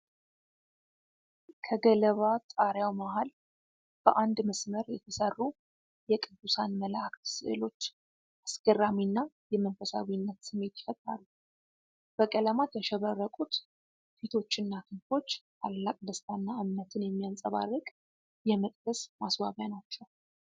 ከገለባ ጣሪያው መሀል በአንድ መስመር የተሰሩ የቅዱሳን መላእክት ስዕሎች አስገራሚና የመንፈሳዊነት ስሜት ይፈጥራሉ። በቀለማት ያሸበረቁት ፊቶችና ክንፎች ታላቅ ደስታና እምነትን የሚያንጸባርቅ የመቅደስ ማስዋቢያ ናቸው።